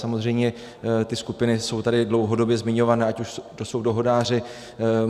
Samozřejmě ty skupiny jsou tady dlouhodobě zmiňované, ať už to jsou dohodáři.